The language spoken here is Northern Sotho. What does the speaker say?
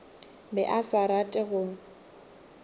be a sa rate go